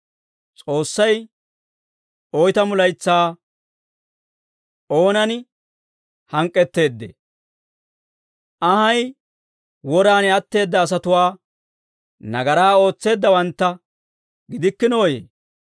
S'oossay oytamu laytsaa oonan hank'k'etteeddee? Anhay woraan atteedda asatuwaa, nagaraa ootseeddawantta gidikkinooyee?